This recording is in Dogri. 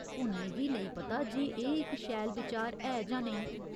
हून मिगी नेईं पता जे एह् इक शैल बिचार ऐ जां नेईं।